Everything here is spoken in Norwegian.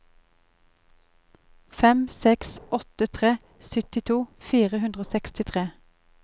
fem seks åtte tre syttito fire hundre og sekstitre